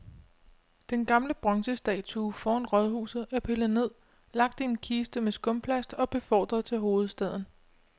Den gamle bronzestatue foran rådhuset er pillet ned, lagt i en kiste med skumplast og befordret til hovedstaden.